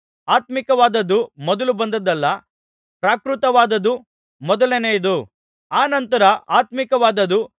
ಆತ್ಮೀಕವಾದದ್ದು ಮೊದಲು ಬಂದದ್ದಲ್ಲಾ ಪ್ರಾಕೃತವಾದದ್ದು ಮೊದಲನೆಯದು ಅನಂತರ ಆತ್ಮೀಕವಾದದ್ದು